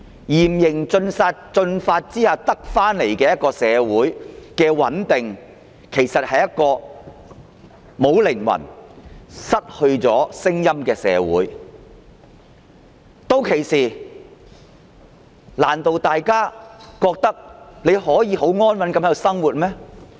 然而，在嚴刑峻法下獲得的穩定的社會，是一個沒有靈魂、失去聲音的社會，難道大家覺得屆時仍然可以很安穩地在香港生活嗎？